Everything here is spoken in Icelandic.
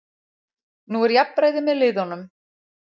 Nú er jafnræði með liðunum